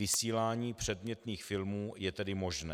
Vysílání předmětných filmů je tedy možné.